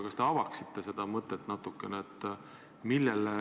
Kas te avaksite seda väidet natukene?